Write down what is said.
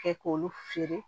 Kɛ k'olu feere